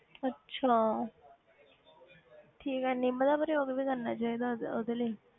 ਅੱਛਾ ਠੀਕ ਹੈ ਨਿੰਮ ਦਾ ਪ੍ਰਯੋਗ ਵੀ ਕਰਨਾ ਚਾਹੀਦਾ ਉਹਦੇ ਉਹਦੇ ਲਈ